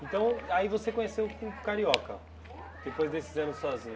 Então, aí você conheceu o o Carioca, depois desses anos sozinha.